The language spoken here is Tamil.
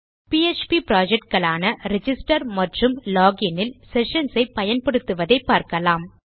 பிஎச்பி புரொஜெக்ட் களான ரிஜிஸ்டர் மற்றும் லோகின் இல் செஷன்ஸ் ஐ பயன்படுத்துவதை பார்க்கலாம்